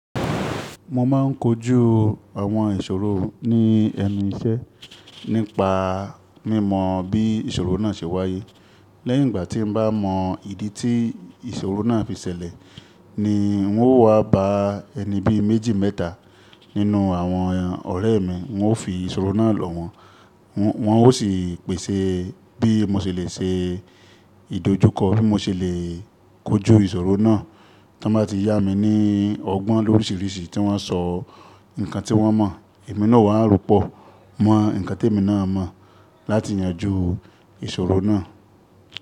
Mo má a ń kojú àwọn ìṣòro ní ẹnu iṣẹ́ nípa mímọ̀ bí ìṣòro náà ṣe wáyé. Lẹ́yìn ìgbà tí mo bá mọ ìdí tí ìṣòro náà fi ṣẹlẹ̀ ni n ó wá ba ẹni bí méjì mẹ́ta nínú àwọn ọ̀rẹ́ mi, n ó fi ìṣòro náà lọ̀wọ́, wọ́n ó sì pèsè bí mo ṣe lè ṣe ìdojúkọ, bí mo ṣe lè kojú ìṣòro náà. Tí wọ́n bá ti yá mi ní ọgbọ́n lóríṣiríṣi tí wọ́n sọ nǹkan tí wọ́n mọ̀, èmi náà a rọ́pọ̀ mọ́ ǹkan tí èmi náà mọ̀ láti yanjú ìṣòro náà.